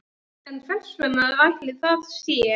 En hvers vegna ætli það sé?